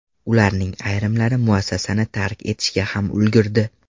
Ularning ayrimlari muassasani tark etishga ham ulgurdi.